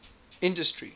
industry